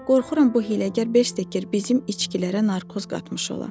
Qorxuram bu hiləgər Bekker bizim içkilərə narkoz qatmış ola.